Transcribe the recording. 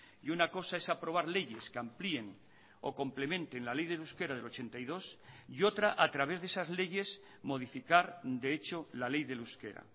y una cosa es aprobar leyes que amplíen o complementen la ley del euskera del ochenta y dos y otra a través de esas leyes modificar de hecho la ley del euskera